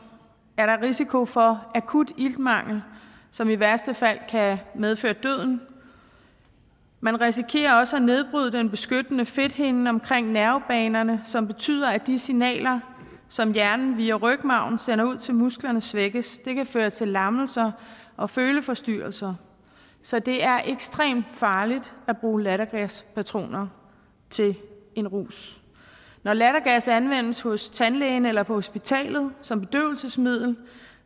er der risiko for akut iltmangel som i værste fald kan medføre døden man risikerer også at nedbryde den beskyttende fedthinde omkring nervebanerne som betyder at de signaler som hjernen via rygmarven sender ud til musklerne svækkes det kan føre til lammelser og føleforstyrrelser så det er ekstremt farligt at bruge lattergaspatroner til en rus når lattergas anvendes hos tandlægen eller på hospitalet som bedøvelsesmiddel